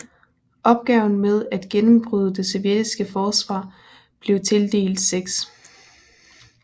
Opgaven med at gennembryde det sovjetiske forsvar blev tildelt 6